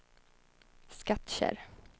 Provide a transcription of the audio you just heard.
Skattkärr